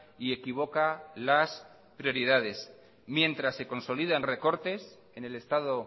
y equivoca las prioridades mientras se consolidan recortes en el estado